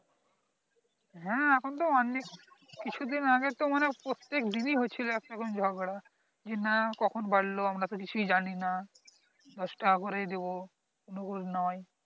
হ্যাঁ এখান তো ওয়ান কিছু দিন আগে তো মানে প্রত্যেক দিন এ হয়েছিল একটা করে ঝগড়া যে না কখন বাড়লো আমরা তো কিছুই জানি না দশ টাকা করে এ দেব রকম নয়